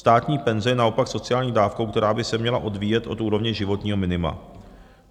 Státní penze je naopak sociální dávkou, která by se měla odvíjet od úrovně životního minima.